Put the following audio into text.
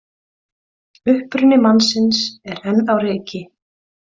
Uppruni mannsins er enn á reiki